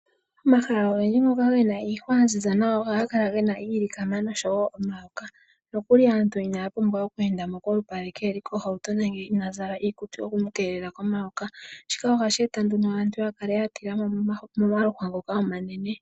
Omahala ogendji ngoka gena iihwa yaziza nawa ohaga kala gena iilikama noshowo omayoka. Nokuli aantu inaya pumbwa okweenda mo kolupadhi kaa yeli koohauto nenge inaaya zala iikutu yoku mukeelela komayoka shika ohashi eta nduno aantu yakale yatila mo momaluhwa ngoka omanene.